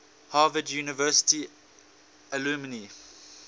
harvard university alumni